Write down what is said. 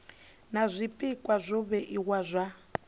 na zwpikwa zwo vhewaho zwa